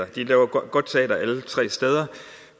de laver godt teater alle tre steder